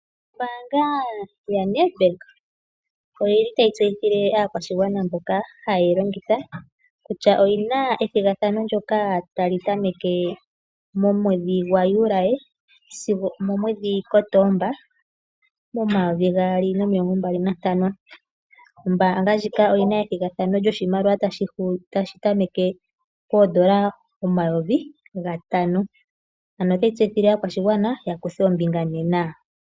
Ombaanga yaNedbank otayi tseyithile aakwashigwana mboka haye yi longitha kutya oyi na ethigathano ndyoka tali tameke momwedhi Juli sigo omuKotoba 2025. Ombaanga ndjika oyi na ethigathano lyoshimaliwa tashi tameke poodola omayovi gatano. Otayi tseyithile aakwashigwana ya kuthe ombinga nena.